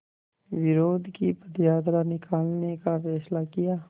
विरोध की पदयात्रा निकालने का फ़ैसला किया